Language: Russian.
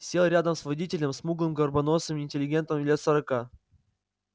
сел рядом с водителем смуглым горбоносым интеллигентом лет сорока